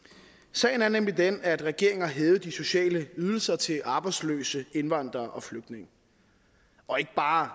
sagen er nemlig den at regeringen har hævet de sociale ydelser til arbejdsløse indvandrere og flygtninge og ikke bare